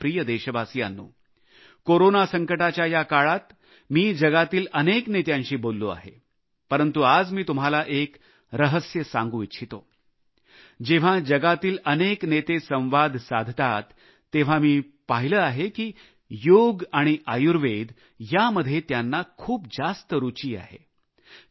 माझ्या प्रिय देशवासियांनो कोरोना संकटाच्या या काळात मी जगातील अनेक नेत्यांशी बोललो आहे परंतु आज मी तुम्हाला एक रहस्य सांगू इच्छितो जेव्हा जगातील अनेक नेते संवाद साधतात तेव्हा मी पाहिले आहे की योग आणि आयुर्वेद यामध्ये त्यांना खूप जास्त रुची आहे